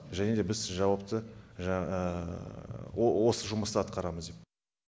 және де біз жауапты осы жұмысты атқарамыз деп